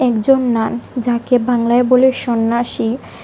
একজন নান যাকে বাংলায় বলে সন্ন্যাসী--